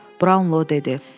Brownlo dedi.